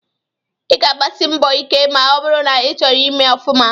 Ị ga-agbasi mbọ ike ma ọ bụrụ na ịchọrọ ịme ọfuma.